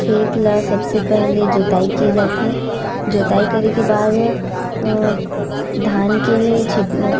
खेत ल सबसे पहले जोताई किए जाथे जोताई करे के बाद धान के छि--